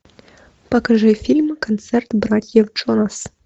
покажи фильм концерт братьев джонас